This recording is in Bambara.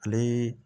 Ale